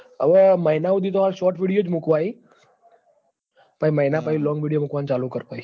અ વ મહિના હુડી તો shotvideo મેકવા હી મહિના પહી long video મેક વાનું ચાલુ કરવા હે